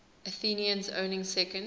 athenians owning second